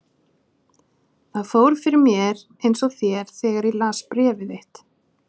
Það fór fyrir mér eins og þér þegar ég las bréf þitt.